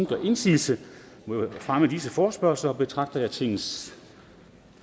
gør indsigelse mod fremme af disse forespørgsler betragter jeg tingets